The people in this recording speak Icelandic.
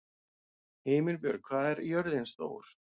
Himinbjörg, hvað er jörðin stór?